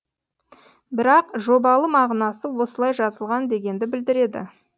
бірақ жобалы мағынасы осылай жазылған дегенді білдіреді